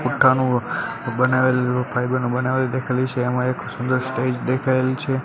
પુઠાનુ બનાવેલું ફાઇબર નું બનાવેલું છે એમાં એક સુંદર સ્ટેજ દેખાયેલ છે.